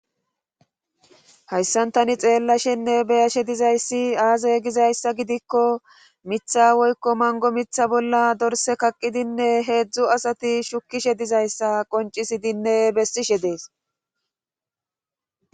Hayssan tani be7ashenne xeellashe dizay aaze gizayssa gidikko mitha woykko manggo mitha bolla dorsse kaqqidinne heedzu asati shukkishe dizayssa qonccisidinne bessishe dees.